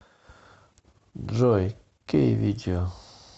джой кей видео